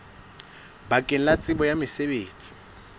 bakeng la tsebo ya mosebetsi